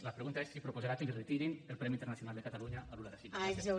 la pregunta és si proposarà que retirin el premi internacional de catalunya a lula da silva